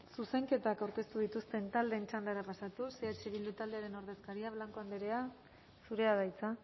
zuzenketak aurkeztu dituzten taldeen txandara pasatuz eh bildu taldearen ordezkaria blanco andrea zurea da hitza